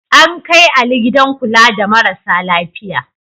An kai Ali gidan kula da marasa lafiya.